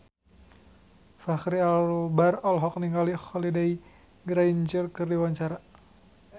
Fachri Albar olohok ningali Holliday Grainger keur diwawancara